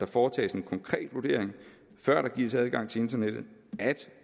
foretages en konkret vurdering før der gives adgang til internettet at